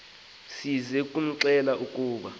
size kumxelela ukuba